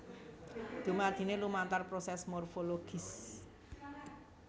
Dumadine lumantar proses morfologis